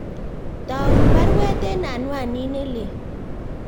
Toun baruweet en anwanit nelelach